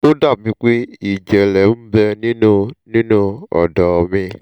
ó dà bíi pé ìjẹ́lẹ̀ ń bẹ nínú nínú ọ̀dọ́ mi